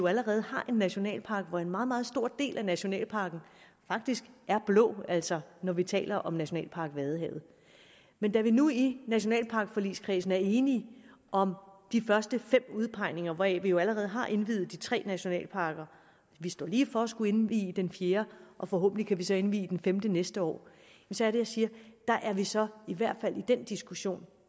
allerede har en nationalpark hvor en meget meget stor del af nationalparken faktisk er blå altså når vi taler om nationalpark vadehavet men da vi nu i nationalparkforligskredsen er enige om de første fem udpegninger hvoraf vi jo allerede har indviet de tre nationalparker står lige for at skulle indvie den fjerde og forhåbentlig kan indvie den femte næste år så er det jeg siger at der er det så i hvert fald med den diskussion